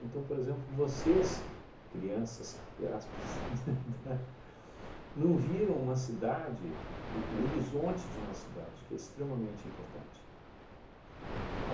por exemplo, vocês, crianças, abre aspas, não viram uma cidade, o horizonte de uma cidade, que é extremamente importante.